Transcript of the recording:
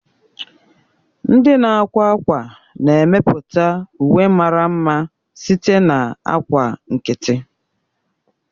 Ndị na-akwa ákwá na-emepụta uwe mara mma site na ákwà nkịtị.